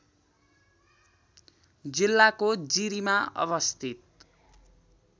जिल्लाको जिरीमा अवस्थित